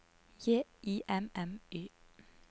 J I M M Y